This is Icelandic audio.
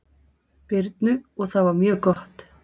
Birnu og það var mjög gott.